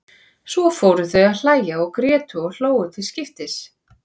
Svo fóru þau að hlæja og grétu og hlógu til skiptis.